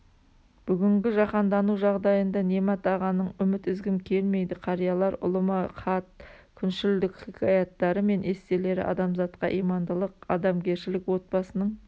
бүгінгі жаһандану жағдайында немат ағаның үміт үзгім келмейді қариялар ұлыма хат күншілдік хикаяттары мен эсселері адамзатқа имандылық адамгершілік отбасының